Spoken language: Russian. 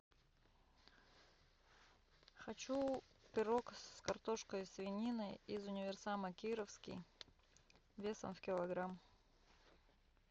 хочу пирог с картошкой и свининой из универсама кировский весом в килограмм